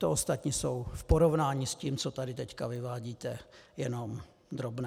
To ostatní jsou v porovnání s tím, co tady teď vyvádíte, jenom drobné.